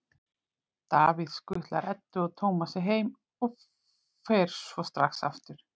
Davíð skutlar Eddu og Tómasi heim og fer svo strax aftur.